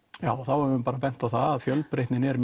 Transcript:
já þá höfum við bent á það að fjölbreytnin er